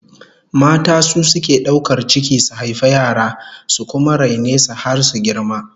Mata su suke daukar ciki su haifi yara, su kuma raine su har su girma